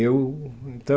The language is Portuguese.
Eu...